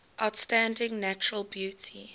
outstanding natural beauty